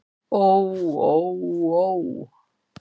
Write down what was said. Ó ó ó.